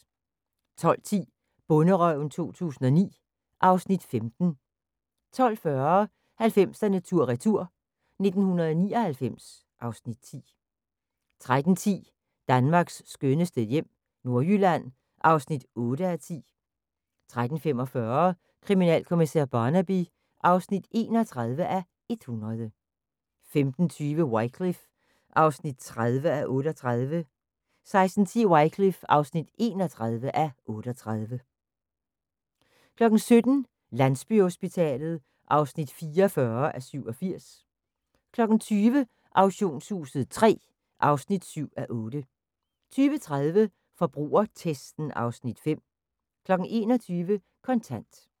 12:10: Bonderøven 2009 (Afs. 15) 12:40: 90'erne tur retur: 1999 (Afs. 10) 13:10: Danmarks skønneste hjem - Nordjylland (8:10) 13:45: Kriminalkommissær Barnaby (31:100) 15:20: Wycliffe (30:38) 16:10: Wycliffe (31:38) 17:00: Landsbyhospitalet (44:87) 20:00: Auktionshuset III (7:8) 20:30: Forbrugertesten (Afs. 5) 21:00: Kontant